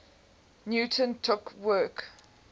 newton took work